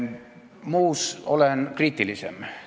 Muu koha pealt olen kriitilisem.